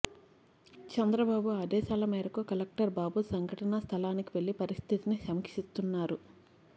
చంద్రబాబు ఆదేశాల మేరకు కలెక్టర్ బాబు సంఘటనా స్థలానికి వెళ్లి పరిస్థితిని సమీక్షిస్తున్నారు